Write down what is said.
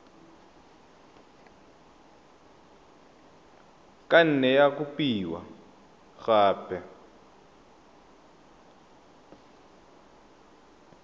ka nne ya kopiwa gape